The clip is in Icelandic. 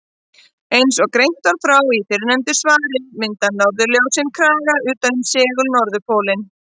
Eins og greint var frá í fyrrnefndu svari mynda norðurljósin kraga utan um segul-norðurpólinn.